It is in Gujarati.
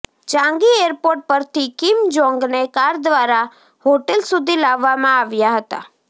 ચાંગી એરપોર્ટ પરથી કિમ જોંગને કાર દ્વારા હોટલ સુધી લાવવામાં આવ્યા હતા